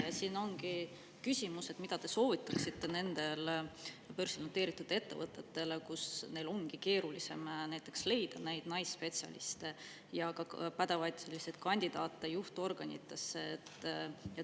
Küsin, mis soovituse te annaksite nendele börsil noteeritud ettevõtetele olukorras, kus neil ongi keeruline leida näiteks naisspetsialiste ja pädevaid kandidaate juhtorganitesse.